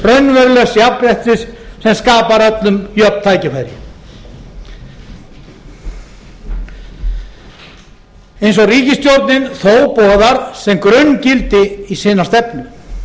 raunverulegs jafnréttis sem skapar öllum jöfn tækifæri eins og ríkisstjórnin þó boðar sem grunngildi í sína stefnu